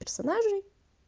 персонажи